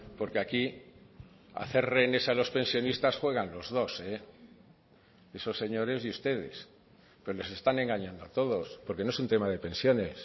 porque aquí hacer rehenes a los pensionistas juegan los dos esos señores y ustedes pero les están engañando a todos porque no es un tema de pensiones